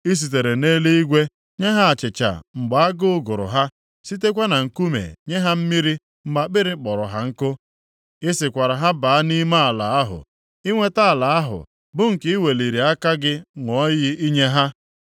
I sitere nʼeluigwe nye ha achịcha mgbe agụụ gụrụ ha, sitekwa na nkume nye ha mmiri mgbe akpịrị kpọrọ ha nkụ. I sịkwara ha baa nʼime ala ahụ inweta ala ahụ bụ nke i weliri aka gị ṅụọ iyi inye ha.